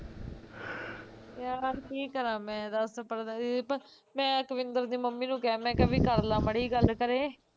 ਯਾਰ ਕੀ ਕਰਾ ਮੈਂ ਦੱਸ ਪ੍ਰਦੀਪ, ਮੈਂ ਅਕਵਿਂਦਰ ਦੀ ਮੰਮੀ ਨੂੰ ਕਿਹਾ ਮੈਂ ਕਿਹਾ ਵੀ ਕਰਲਾ ਮਾੜੀ ਜਹੀ ਗੱਲ ਘਰੇ